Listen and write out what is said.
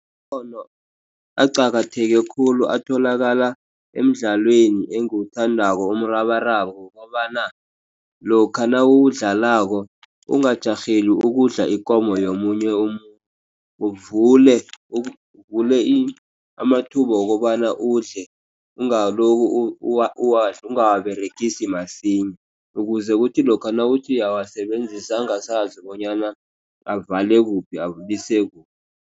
Nkghono aqakatheke khulu, atholakala emdlalweni engiwuthandako umrabaraba, ngombana lokha nawuwudlalako ungajarheli ukudla ikomo yomunye umuntu, uvule amathuba wokobana udle, ungawaberegisi masinya, ukuze kuthi lokha nawuthi uyabawasebenzisa angasazi bonyana avale kuphi